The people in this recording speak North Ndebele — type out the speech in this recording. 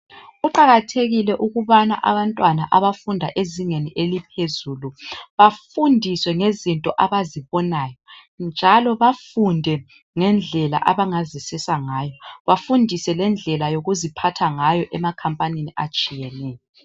Kuqakathekile ukubana abantwana abafunda ezingeni eliphezulu bafundiswe ngezinto abazibonayo njalo bafunde ngendlela abangazisiza ngayo. Bafundiswe lendlela yokuziphatha ngayo emakhampanini atshiyeneyo.